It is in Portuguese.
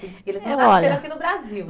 Eles não nasceram aqui no Brasil